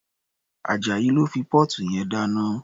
Ajayi ló fi póòtù yẹn dáná.